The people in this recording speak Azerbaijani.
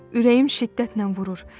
Ürəyim şiddətlə vurur.